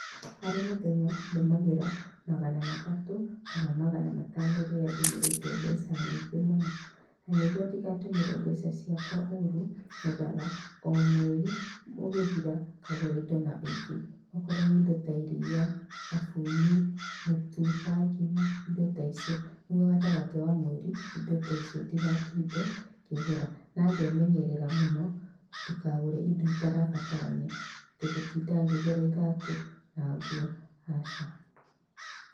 Harĩ mũthenya ndũmagĩra magana matatũ kana magana matano rĩrĩa ndũmĩrĩte mbeca nyingĩ mũno na nĩguo ndĩgatũmĩre mbeca ciakwa ũrũ nyendaga omweri ũgĩthira ngagũra indo na wĩingĩ wakorwo nĩ indo ta irĩa, thabuni, mũtu wa ngima indo ta icio nĩguo gatagatĩ wa mweri indo ta icio ndĩgatinde ngĩgũra. Na ngemenyerera mũno ndikagũre indo itarabatarania ,tigũtinda ngĩgũra iratu na nguo aca.